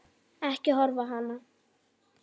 Ekki horfa á hana!